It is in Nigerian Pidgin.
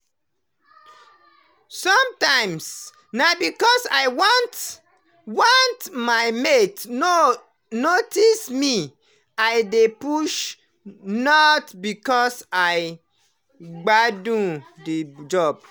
sometimes na because i want want my mate no notice me i dey push, not because i gbadun the job